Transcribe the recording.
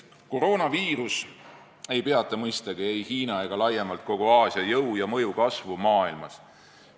Koroonaviirus ei peata mõistagi ei Hiina ega laiemalt kogu Aasia jõu ja mõju kasvu maailmas.